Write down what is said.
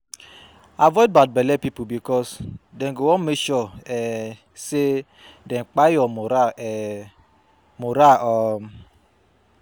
Avoid bad belle pipo bikos dem go wan mek sure um say dem kpai yur moral um moral um